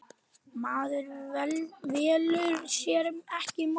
Maður velur sér ekki móður.